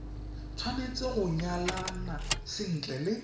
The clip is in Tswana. tshwanetse go nyalana sentle le